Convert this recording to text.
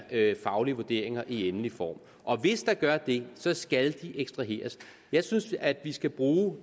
faglige vurderinger i endelig form og hvis der gør det så skal de ekstraheres jeg synes at vi skal bruge